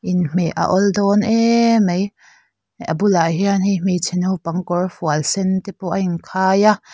inhmeh a awldawn emai a bulah hian hei hmeichhe naupang kawrfual sen tepawh a in khai a--